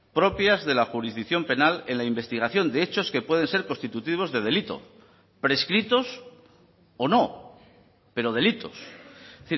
propias de la jurisdicción penal en la investigación de hechos que pueden ser constitutivos de delito prescritos o no pero delitos es